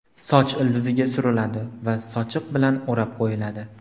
Soch ildiziga suriladi va sochiq bilan o‘rab qo‘yiladi.